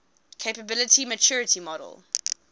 capability maturity model